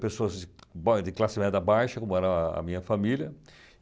pessoas de ba de classe média baixa, como era a minha família.